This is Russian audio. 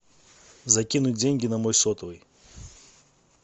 закинуть деньги на мой сотовый